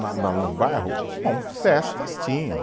Na na no bairro, festas tinham.